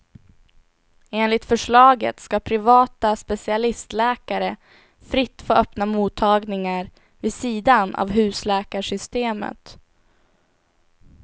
Enligt förslaget ska privata specialistläkare fritt få öppna mottagningar vid sidan av husläkarsystemet.